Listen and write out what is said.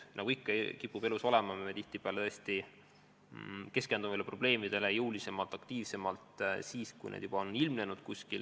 Nagu ikka kipub elus olema, me tihtipeale tõesti keskendume probleemidele jõulisemalt, aktiivsemalt siis, kui need on kuskil ilmnenud.